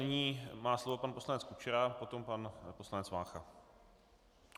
Nyní má slovo pan poslanec Kučera, potom pan poslanec Vácha.